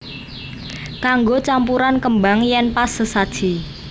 Kanggo campuran kembang yen pas sesaji